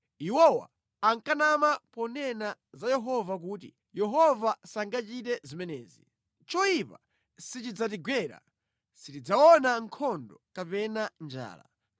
Iwowa ankanama ponena za Yehova kuti, “Yehova sangachite zimenezi! Choyipa sichidzatigwera; sitidzaona nkhondo kapena njala.